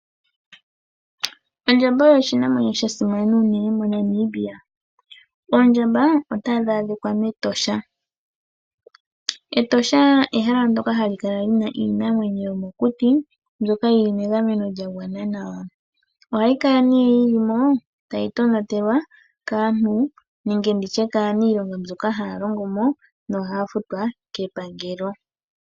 Ondjamba oyo oshinamwenyo shasimana unene moNamibia, oondjamba ohadhi adhika metosha. Etosha olyo ehala ndyoka halikala lina iinamwenyo yomokuti ndjoka yili mengameno lyangwana nawa. Oondjamba ohadhi tonatelwa nokusilwa oshimpwiyu kaanilonga mboka haalongomo metosha nohaafutwa kepangelo.